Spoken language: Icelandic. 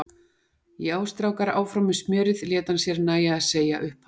Já, strákar, áfram með smjörið! lét hann sér nægja að segja upphátt.